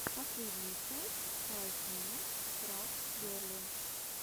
последняя часть файв минут крафтс герли